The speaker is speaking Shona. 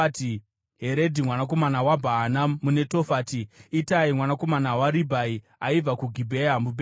Heredhi mwanakomana waBhaana muNetofati, Itai mwanakomana waRibhai aibva kuGibhea muBhenjamini,